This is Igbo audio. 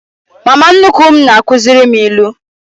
Mama nnukwu m na-akuziri m ilu.